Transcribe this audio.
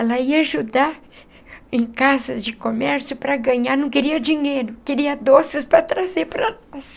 Ela ia ajudar em casas de comércio para ganhar... não queria dinheiro... queria doces para trazer para nós.